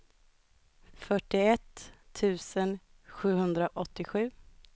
fyrtioett tusen sjuhundraåttiosju